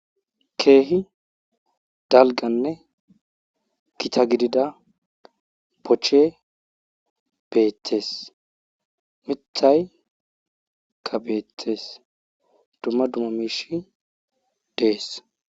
Keehi dalggannne gita gidida pochche beettees mithayka beettes dumma dumma miishay dees.